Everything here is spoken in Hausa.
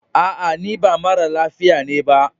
A'a, ni ba mara lafiya ne ba.